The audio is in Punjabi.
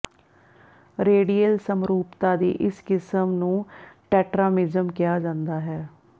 ਰੇਡੀਏਲ ਸਮਰੂਪਤਾ ਦੀ ਇਸ ਕਿਸਮ ਨੂੰ ਟੈਟਰਾਮਿਜ਼ਮ ਕਿਹਾ ਜਾਂਦਾ ਹੈ